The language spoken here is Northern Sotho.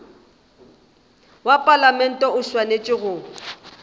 wa palamente o swanetše go